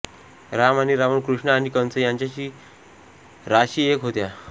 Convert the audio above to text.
राम आणि रावण कृष्ण आणि कंस यांच्या राशी एक होत्या